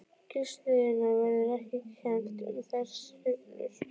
Kísiliðjunni verður ekki kennt um þær sveiflur.